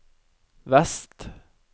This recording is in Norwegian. vest